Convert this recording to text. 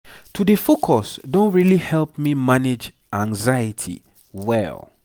to dey focus don really help me manage anxiety well